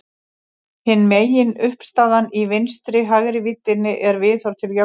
Hin meginuppistaðan í vinstri-hægri víddinni er viðhorf til jöfnuðar.